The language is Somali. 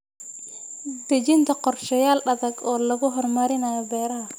Dejinta qorshayaal adag oo lagu horumarinayo beeraha.